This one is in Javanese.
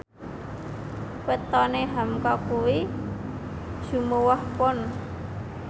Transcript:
wetone hamka kuwi Jumuwah Pon